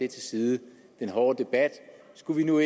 til side og skulle nu